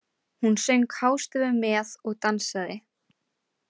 Hún söng hástöfum með og dansaði.